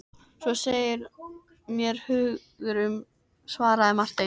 Svo segir mér hugur um, svaraði Marteinn.